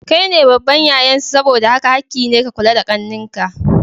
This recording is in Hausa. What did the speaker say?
Kaine babban yayan su saboda haka hakki ne ka kula da ƙannen ka.